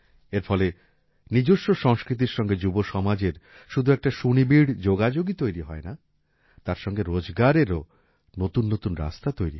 এর ফলে নিজস্ব সংস্কৃতির সঙ্গে যুবসমাজের শুধু একটা সুনিবিড় যোগাযোগই তৈরি হয় না তার সঙ্গে রোজগারেরও নতুন নতুন রাস্তা তৈরি হয়